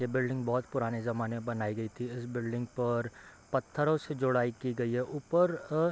ये बिल्डिंग बहुत पुराने ज़माने में बनाई गई थी इस बिल्डिंग पर पत्थरो से जोड़ाई की गई है ऊपर अ --